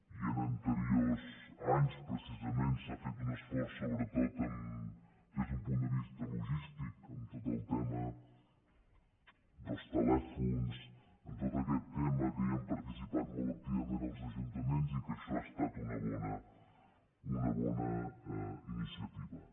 i en anteriors anys precisament s’ha fet un esforç sobretot des d’un punt de vista logístic en tot el tema dels telèfons en tot aquest tema que hi han participat molt activament els ajuntaments i que això ha estat una bona iniciativa